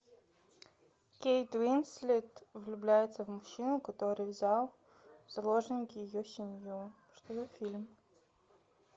кейт уинслет влюбляется в мужчину который взял в заложники ее семью что за фильм